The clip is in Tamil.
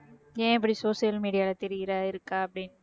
ஏன் இப்படி social media ல